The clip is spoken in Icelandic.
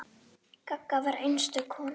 Gagga var einstök kona.